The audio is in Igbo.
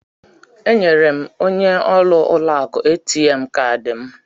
Enyere m onye ọrụ ụlọ akụ ATM kaadị m.